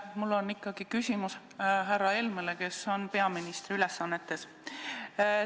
Mul on ikkagi küsimus härra Helmele, kes on peaministri ülesannetes.